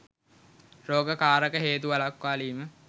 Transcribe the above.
රෝග කාරක හේතු වළක්වාලීම